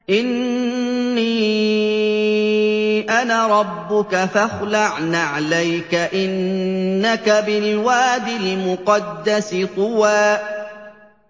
إِنِّي أَنَا رَبُّكَ فَاخْلَعْ نَعْلَيْكَ ۖ إِنَّكَ بِالْوَادِ الْمُقَدَّسِ طُوًى